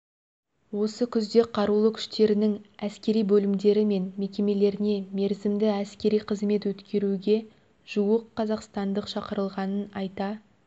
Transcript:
осы күзде қарулы күштерінің әскери бөлімдері мен мекемелеріне мерзімді әскери қызмет өткеруге жуық қазақстандық шақырылғанын айта